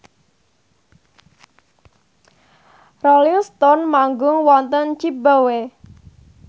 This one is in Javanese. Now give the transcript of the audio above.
Rolling Stone manggung wonten zimbabwe